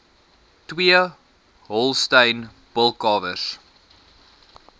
twee holstein bulkalwers